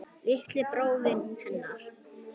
Litli bróðirinn hennar.